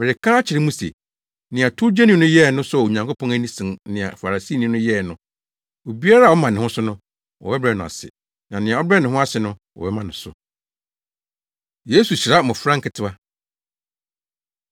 “Mereka akyerɛ mo se, nea towgyeni no yɛe no sɔɔ Onyankopɔn ani sen nea Farisini no yɛe no. Obiara a ɔma ne ho so no, wɔbɛbrɛ no ase, na nea ɔbrɛ ne ho ase no, wɔbɛma no so.” Yesu Hyira Mmofra Nketewa